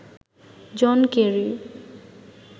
John Kerry